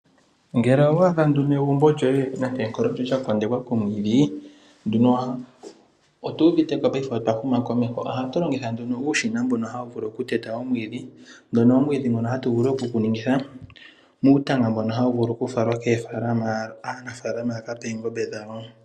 Ngele owa adha egumbo lyoye lya kondekwa komwidhi paife otu uviteko otwa huma komeho ohatu longitha ihe uushina mbono hawu vulu okuteya omwiidhi moka omwiidhi ngoka hatu vulu okuguningitha muutanga mboka hawu vulu okufalwa koofalama aanafalama ya kape oongombe dhawo.